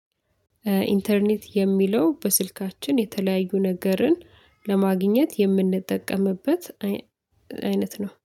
ኢንተርኔት የሚለው በስልካችን የተለያዩ ነገርን ለማግኘት የምንጠቀምበት አይ አይነት ነው